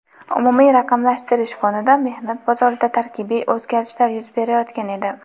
umumiy raqamlashtirish fonida mehnat bozorida tarkibiy o‘zgarishlar yuz berayotgan edi.